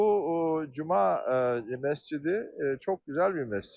Bu cuma məscidi çox gözəl bir məscid.